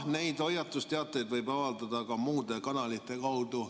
Neid hoiatusteateid võib avaldada ka muude kanalite kaudu.